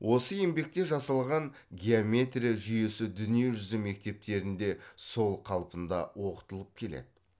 осы еңбекте жасалған геометрия жүйесі дүние жүзі мектептерінде сол қалпында оқытылып келеді